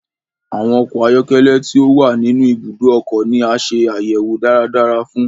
Awọn ọkọ ayọkẹlẹ ti o wa ninu ibùdó ọkọ ni a ṣe ayẹwo dáradára fún